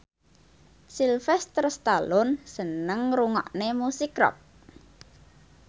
Sylvester Stallone seneng ngrungokne musik rock